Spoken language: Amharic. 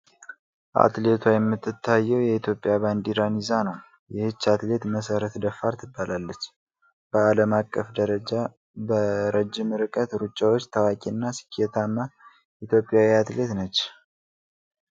አትሌቷ የምትታየው የኢትዮጵያ ባንዲራን ይዛ ነው። ይህች አትሌት መስረት ደፋር ትባላለች፤ በዓለም አቀፍ ደረጃ በረዥም ርቀት ሩጫዎች ታዋቂና ስኬታማ ኢትዮጵያዊት አትሌት ነች።